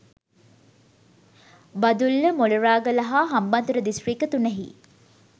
බදුල්ල මොණරාගල හා හම්බන්තොට දිස්ත්‍රික්ක තුනෙහි